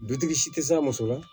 Dutigi si tɛ s'a muso ma